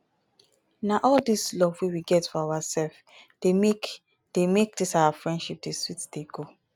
na all dis love wey we get for oursef dey make dey make dis our friendship dey sweet dey go.